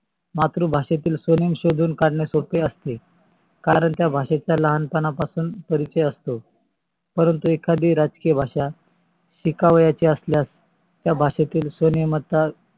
मातृ भाषेतील स्व्नेमा शोधून काढणे सोपे असते कारण त्या भाषेचा लहानपणा पासून परिचय असतो. परंतू एखादी राजकीय भाषा तीकाव्याची असल्यास त्या भाषेतील स्वनेयामतात